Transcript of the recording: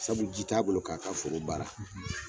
Sabu ji t'a bolo k'a ka foro baara